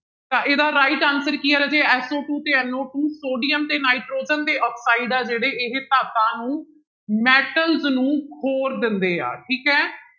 ਤਾਂ ਇਹਦਾ right answer ਕੀ ਹੈ ਰਾਜੇ SO two ਤੇ NO two ਸੋਡੀਅਮ ਤੇ ਨਾਇਟ੍ਰੋਜਨ ਦੇ ਆਕਸਾਇਡ ਆ ਜਿਹੜੇ ਇਹ ਧਾਤਾਂ ਨੂੰ metals ਨੂੰ ਖੌਰ ਦਿੰਦੇ ਆ ਠੀਕ ਹੈ